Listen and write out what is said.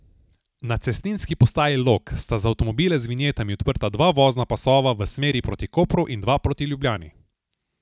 Na cestninski postaji Log sta za avtomobile z vinjetami odprta dva vozna pasova v smeri proti Kopru in dva proti Ljubljani.